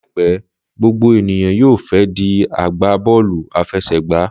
Láìpẹ́, gbogbo ènìyàn yóò fẹ́ di agbá bọ́ọ̀lù àfẹsẹ̀gba